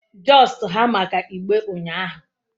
Just ha maka igbe unyahu ahu